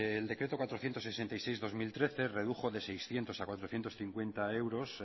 el decreto cuatrocientos sesenta y seis barra dos mil trece redujo de seiscientos a cuatrocientos cincuenta euros